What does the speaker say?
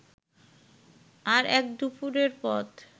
আর এক দুপুরের পথ